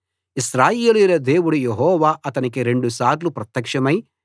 ఇశ్రాయేలీయుల దేవుడు యెహోవా అతనికి రెండు సార్లు ప్రత్యక్షమై